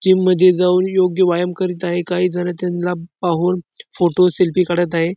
Gym मध्ये जाऊन योग्य व्यायाम करीत आहे काही जण त्यांना पाहून फोटो सेल्फी काढत आहे.